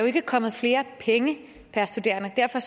ikke kommet flere penge per studerende og derfor